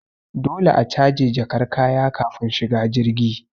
Dole a caje jakar kaya kafin shiga jirgi